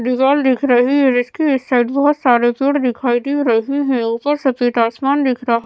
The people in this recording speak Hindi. दीवाल दिख रही है इसकी इस साइड बहोत सारे पेड़ दिखाई दे रहे हैं ऊपर सफेद आसमान दिख रहा --